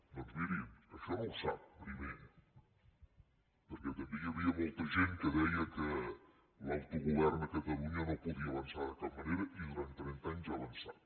doncs miri això no ho sap primer perquè també hi havia molta gent que deia que l’autogovern a catalunya no podia avançar de cap manera i durant trenta anys ha avançat